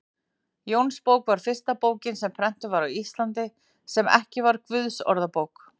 Jónsbók var fyrsta bókin sem prentuð var á Íslandi, sem ekki var Guðsorðabók.